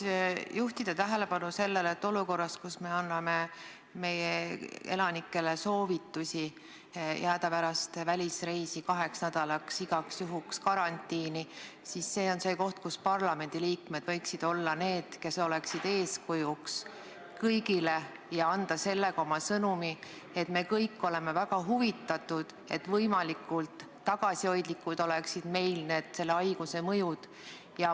Ma tahan juhtida tähelepanu sellele, et olukorras, kus me anname elanikele soovitusi jääda pärast välisreisi kaheks nädalaks igaks juhuks karantiini, võiksid parlamendiliikmed olla eeskujuks kõigile ja anda sellega oma sõnumi, et me kõik oleme väga huvitatud, et selle haiguse mõju oleks meil võimalikult tagasihoidlik.